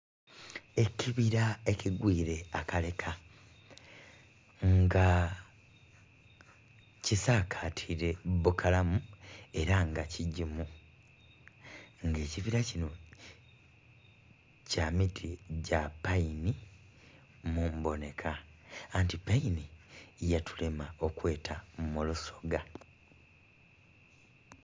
Ekibira ekigwire akaleka nga ki saakatire bukalamu era nga kigimu, nga ekibira kino kya miti gya paini mu mbonheka anti paini yatulema okwetamu lusoga.